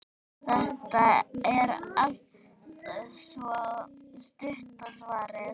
Þetta er altso stutta svarið.